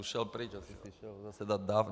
Už šel pryč, asi si šel zase dát dávku...